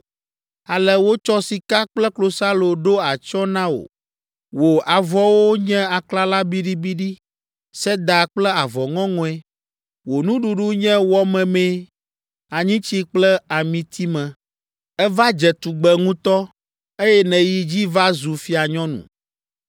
Ale wotsɔ sika kple klosalo ɖo atsyɔ̃e na wò. Wò avɔwo nye aklala biɖibiɖi, seda kple avɔ ŋɔŋɔe. Wò nuɖuɖu nye wɔ memee, anyitsi kple amitime. Èva dze tugbe ŋutɔ, eye nèyi dzi va zu fianyɔnu.